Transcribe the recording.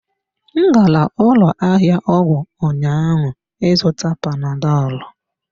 M gara ụlọ ahịa ọgwụ ụnyaahụ ịzụta panadọlụ.